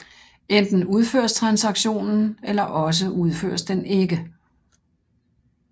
Enten udføres transaktionen eller også udføres den ikke